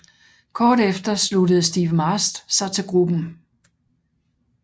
Kort efter sluttede Steve Mast sig til gruppen